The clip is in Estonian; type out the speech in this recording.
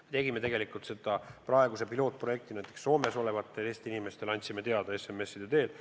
Me tegime seda praegu pilootprojektina, näiteks Soomes olevatele Eesti inimestele andsime infot SMS-ide teel.